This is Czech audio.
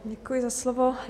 Děkuji za slovo.